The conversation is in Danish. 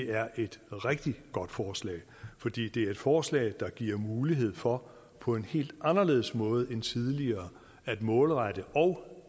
er et rigtig godt forslag fordi det er et forslag der giver mulighed for på en helt anderledes måde end tidligere at målrette og